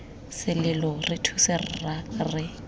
selelo re thuse rra re